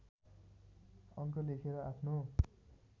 अङ्क लेखेर आफ्नो